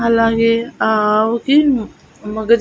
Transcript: అలాగే ఆ ఆవుకి మగ--